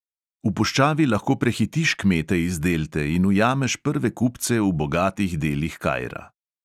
V puščavi lahko prehitiš kmete iz delte in ujameš prve kupce v bogatih delih kaira.